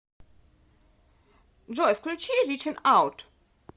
джой включи ричинг аут